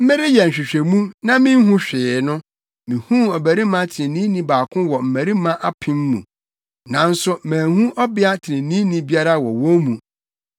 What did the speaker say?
mereyɛ nhwehwɛmu, na minhu hwee no, mihuu ɔbarima treneeni baako wɔ mmarima apem mu, nanso manhu ɔbea treneeni biara wɔ wɔn mu.